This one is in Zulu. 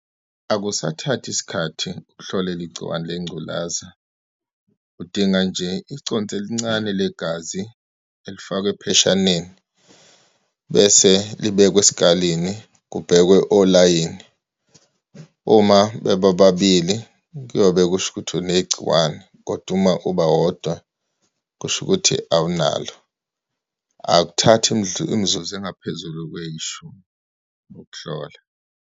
Akusathathi isikhathi ukuhlolela igciwane lengculaza. Udinga nje iconsi elincane legazi elifakwa epheshaneni, bese libekwe esikaleni, kubhekwe olayini. Uma bebobabili kuyobe kusho ukuthi unegciwane, kodwa uma uba wodwa, kusho ukuthi awunalo. Akuthathi imizuzu engaphezulu kweyishumi ukuhlola.